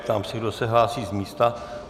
Ptám se, kdo se hlásí z místa.